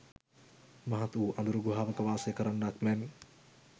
මහත් වූ අඳුරු ගුහාවක වාසය කරන්නාක් මෙන්